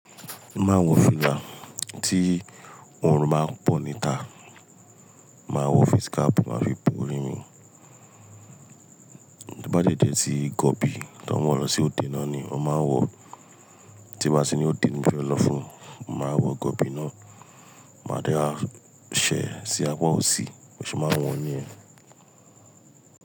Mo ma n wọ fìlà tí òórùn ba ń pọ̀ níta. Màá wọ face cap, màá fi bo orí mi. To bá dẹ̀ jẹ̀ tí gọbi tí wọ́n n wọ lọ sí òde náà ni mo máa ń wọ, tí n ba tí ni òde ti mo fẹ́ lọ fún, máa wọ gọbi náà, máa dẹ̀ á ṣẹ̀ sí apá òsì, bi mo ṣe máa wọ̀ ọ́n ní yẹn.